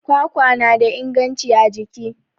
kwakwa na da inganci a jiki